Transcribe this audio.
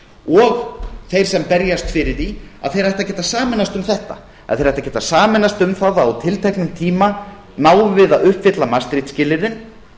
og þeir sem berjast fyrir því þeir ættu að geta sameinast um þetta að þeir ættu að geta sameinast um það á tilteknum tíma náum við að uppfylla maastricht skilyrðin